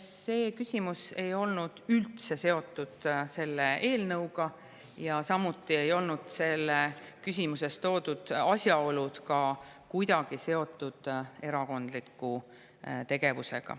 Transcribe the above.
See küsimus ei olnud üldse seotud selle eelnõuga ja samuti ei olnud ka selles küsimuses toodud asjaolud kuidagi seotud erakondliku tegevusega.